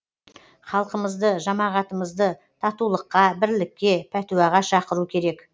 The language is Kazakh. халқымызды жамағатымызды татулыққа бірлікке пәтуаға шақыру керек